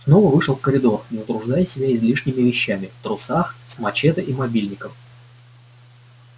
снова вышел в коридор не утруждая себя излишними вещами в трусах с мачете и мобильником